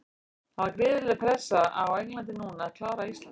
Það er gríðarleg pressa á Englandi núna að klára Ísland.